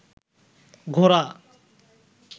ঘোড়া